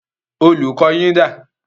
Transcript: Olùkọ́ yín dà?